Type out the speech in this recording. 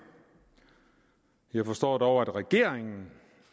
jeg forstår dog at regeringen